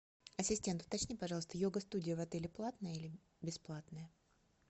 ассистент уточни пожалуйста йога студия в отеле платная или бесплатная